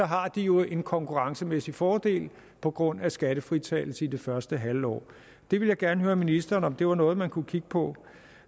har de en konkurrencemæssig fordel på grund af skattefritagelse i det første halve år det vil jeg gerne høre ministeren om var noget man kunne kigge på